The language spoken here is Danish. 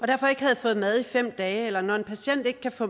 derfor ikke havde fået mad i fem dage eller når en patient ikke kan få